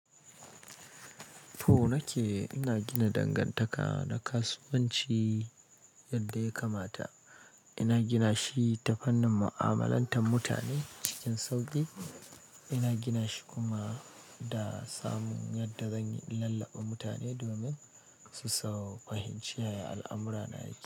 To, nake ina gina dangantaka na kasuwanci yadda ya kamata. Ina gina shi ta fannin mu'amalantar mutane cikin sauƙi. Ina gina shi kuma da samun yadda zan lallaɓa mutane domin su fahimci yaya al'amura na yake.